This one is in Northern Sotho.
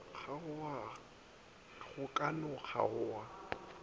kgaoga go ka no kgaoga